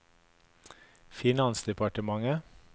finansdepartementet